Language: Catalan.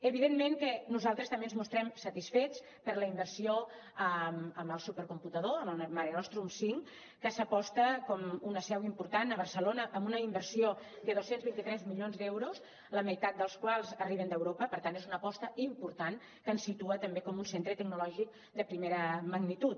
evidentment que nosaltres també ens mostrem satisfets per la inversió en el supercomputador en el marenostrum cinc que s’aposta com una seu important a barcelona amb una inversió de dos cents i vint tres milions d’euros la meitat dels quals arriben d’europa per tant és una aposta important que ens situa també com un centre tecnològic de primera magnitud